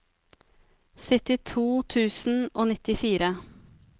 syttito tusen og nittifire